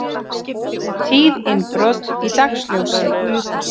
Tíð innbrot í dagsljósi